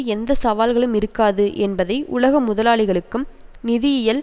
எந்த சவால்களும் இருக்காது என்பதை உலக முதலாளிகளுக்கும் நிதியியல்